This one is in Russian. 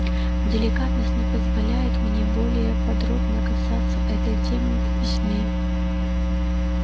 деликатность не позволяет мне более подробно касаться этой темы в письме